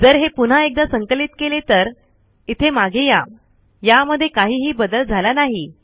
जर हे पुन्हा एकदा संकलित केले तर इथे मागे या यामध्ये काहीही बदल झाला नाही